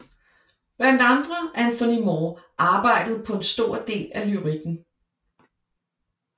Blandt andre Anthony Moore arbejdede på en stor del af lyrikken